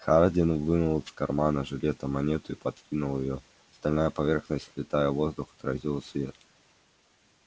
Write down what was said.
хардин вынул из кармана жилета монету и подкинул её стальная поверхность влетая в воздух отразила свет